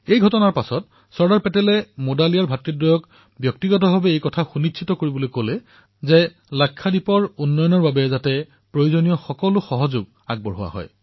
এই ঘটনাৰ পিছত চৰ্দাৰ পেটেলে মুডালিয়াৰ ব্ৰাডাৰ্ছক কলে যে তেওঁলোকে ব্যক্তিগত ৰূপত এয়া সুনিশ্চিত কৰক যে লাক্ষাদ্বীপৰ বিকাশৰ বাবে যাতে প্ৰয়োজনীয় সাহাৰ্য লাভ কৰিব পাৰে